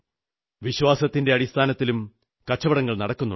വിശ്വാസത്തിന്റെ അടിസ്ഥാനത്തിലും കച്ചവടങ്ങൾ നടക്കുന്നുണ്ട്